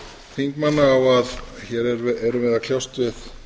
þingmanna á að hér erum við að kljást við